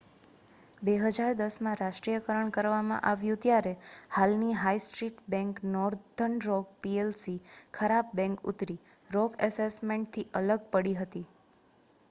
2010માં રાષ્ટ્રીયકરણ કરવામાં આવ્યું ત્યારે હાલની high street bank northern rock PLC 'ખરાબ બેંક' ઉત્તરી રોક એસેટ મેનેજમેન્ટથી અલગ પડી હતી